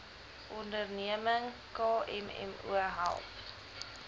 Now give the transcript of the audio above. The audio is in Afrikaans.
onderneming kmmo help